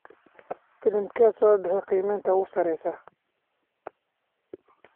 filimkee soo baxay qiimeynta ugu sareysa